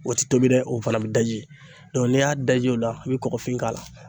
O tɛ tobi dɛ o fana bɛ daji n'i y'a da ji o la i bɛ kɔkɔfin k'a la.